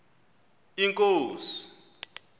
inkosi